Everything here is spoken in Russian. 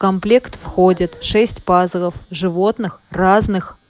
комплект входит шесть пазлов животных разных